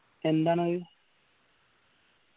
എന്താണത്